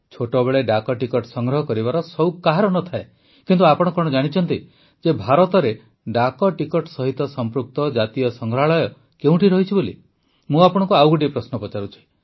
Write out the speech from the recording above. ଛୋଟବେଳେ ଡାକ ଟିକଟ ସଂଗ୍ରହ କରିବାର ସଉକ କାହାର ନ ଥାଏ କିନ୍ତୁ ଆପଣ କଣ ଜାଣିଛନ୍ତି ଯେ ଭାରତରେ ଡାକଟିକଟ ସହିତ ସଂପୃକ୍ତ ଜାତୀୟ ସଂଗ୍ରହାଳୟ କେଉଁଠି ରହିଛି ମୁଁ ଆପଣଙ୍କୁ ଆଉ ଗୋଟିଏ ପ୍ରଶ୍ନ ପଚାରୁଛି